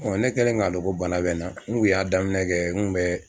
ne kɛlen k'a dɔn ko bana bɛ n na n kun y'a daminɛ kɛ n kun bɛ